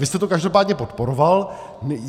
Vy jste to každopádně podporoval.